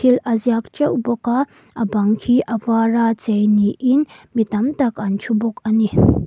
thil a ziak teuh bawk a a bang khi a vara chei niin mi tam tak an thu bawk a ni.